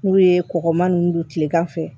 N'u ye kɔgɔma nunnu don tilegan fɛ